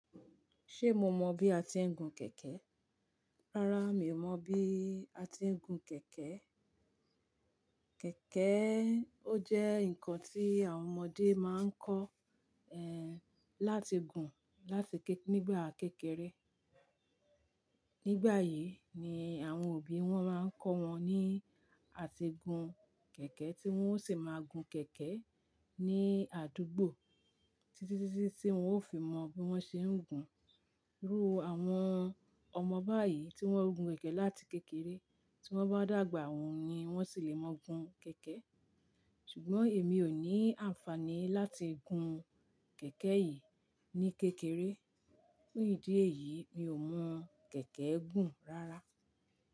Ṣé mo mọ bí a ti ń gun kẹ̀kẹ́? Rárá, mi ò mọ bí a ti ń gun kẹ̀kẹ́. Kẹ̀kẹ́e ó jẹ́ ǹkan tí àwọn ọmọdé máa ń kọ́, ẹ́hn, láti gun láti ké-- nígbà kékeré. Nígbà yìí ni àwọn òbí wọn máa ń kọ́ wọn ní àtígun kẹ̀kẹ́ tí wọ́n ó sì máa gun kẹ̀kẹ́ ní àdúgbò títí, títí tí wọ́n ó fi mọ bí wọ́n ṣe ń gun. Irú àwọn ọmọ báyìí tí wọ́n gun kẹ̀kẹ́ láti kékeré, tí wọ́n bá dàgbà, awon yen wọ́n sì le mọ gun kẹ̀kẹ́. Ṣùgbọ́n èmi ò ní àǹfàní láti gun kẹ̀kẹ́ yìí ní kékeré. Ní ìdí èyí, mi ò mọ kẹ̀kẹ́ gun rárá.